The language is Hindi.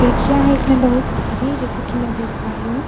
देखियां हैं इसमें बहुत सारी जैसे की मैं देख पा रही हूँ --